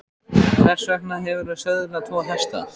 Hvers vegna hefurðu söðlað tvo hesta?